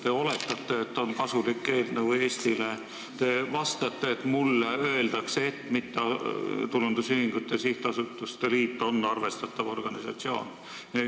Te oletate, et see on kasulik eelnõu Eestile, te vastate, et teile on öeldud, et mittetulundusühingute ja sihtasutuste liit on arvestatav organisatsioon.